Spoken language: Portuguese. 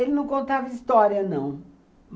Ele não contava história, não.